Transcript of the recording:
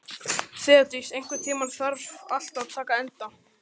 Þeódís, einhvern tímann þarf allt að taka enda.